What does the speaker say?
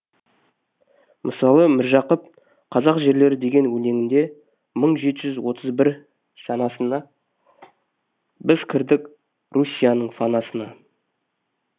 мысалы міржақып қазақ жерлері деген өлеңінде мың жеті жүз отыз бір сәнасында біз кірдік руссияның фанасына